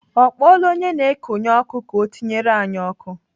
Ọ kpọọla onye na-ekonye ọkụ ka ọ tinyere anyị ọkụ.